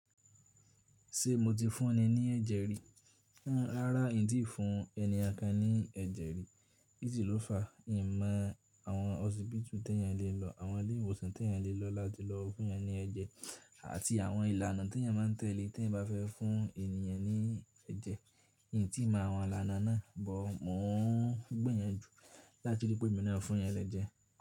Ṣé mo ti fún ẹ ní ẹ̀jẹ̀ rí? Rárá n ti fún ènìyàn kan ní ẹ̀jẹ̀ rí. Kísi ló fa? N mọ àwọn ọ̀síbìtù tí ẹ̀yan lè lọ, àwọn ilé ìwòsàn tí ẹ̀yan lè lọ láti lọ fún ẹyan ní ẹ̀jẹ̀ àti àwọn ìlànà tí ẹ̀yan ma n tẹ̀lé tí ẹ̀yan bá fẹ́ fún ènìyàn ní ẹ̀jẹ̀. N kò tí ì mọ àwọn ìlànà náà, but mọ̀ ọ́n gbé yẹn jù láti rí pé emí náà fún ẹ̀yàn lẹ́jẹ̀.